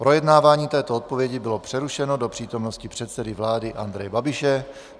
Projednávání této odpovědi bylo přerušeno do přítomnosti předsedy vlády Andreje Babiše.